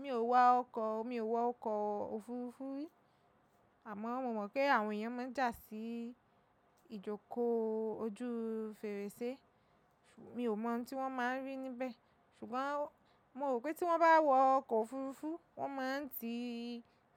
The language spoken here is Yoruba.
Mi ò wá ọkọ̀, mi ò wọ ọkọ̀ òfuurufú rí àmọ́ mo mọ̀ pé àwọn èèyàn máa ń jà sí ìjókòó ojú fèrèsé. Mi ò mọ ohun tí wọ́n máa ń rí níbẹ̀. Ṣùgbọ́n mo rò pé tí wọ́n bá wọ ọkọ̀ òfuurufú, wọ́n máa ń ti